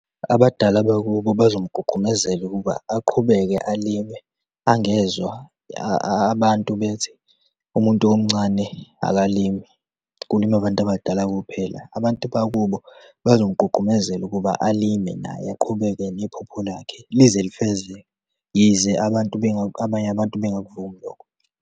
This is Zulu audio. Abadala bakubo bazomgqugqumezela ukuba aqhubeke alime angezwa abantu bethi, umuntu omncane akalimi, kulimi abantu abadala kuphela. Abantu bakubo bazomgqugqumezela ukuba alime naye, aqhubeke nephupho lakhe lize lifezeke. Yize abantu, abanye abantu bengakuvumi lokho.